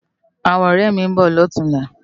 Áwòn òrè mi n bò lòtúnlá